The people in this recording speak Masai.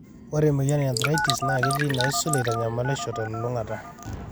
ore emoyian e arthritis naa ketiii inaisul eitanyamalisho telulung'ata.